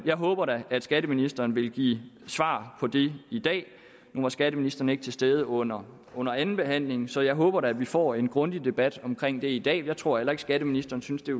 jeg håber da at skatteministeren vil give svar på det i dag nu var skatteministeren ikke til stede under under andenbehandlingen så jeg håber da vi får en grundig debat omkring det i dag jeg tror heller ikke at skatteministeren synes det